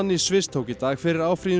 Sviss tók í dag fyrir áfrýjun